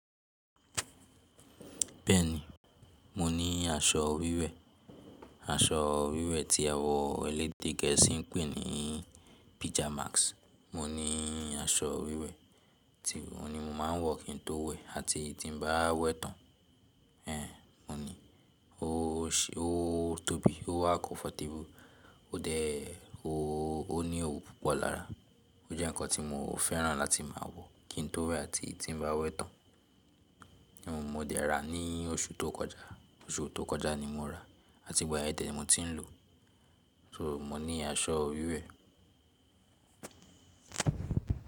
Bẹ́ẹ̀ni, mo ní aṣọ wíwẹ̀, aṣọ wíwẹ̀ tí àwọn elédè gẹ̀ẹ́sì ń pè ní pyjamas. Mo ní aṣọ wíwẹ̀ tí óun ni mo máa ń wọ kín tó wẹ̀ àti tí n bá wẹ̀ tán. Éhn, mo ní. Ó tóbi, ó wà comfortable, ó dé o ó ní òwú púpọ̀ lára. Ó jẹ́ ǹkan tí mo fẹ́ràn láti máa wọ kín tó wẹ̀ àti tí n bá wẹ̀ tán. Mo dé ra ní oṣù tó kọjá, oṣù tó kọjá ni mo ra àti ìgbà yen de ni mo tí ń lò. So mo ní aṣọ wíwẹ̀